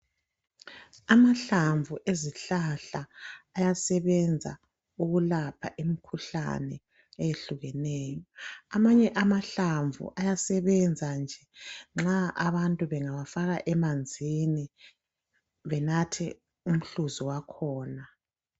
Amahlamvu ezihlahla ayasebenza ukulapha imikhuhlane eyehlukeneyo amanye amahlamvu ayasebenza nje nxa abantu bengawafaka emanzini bebaphe umhluzi wakhona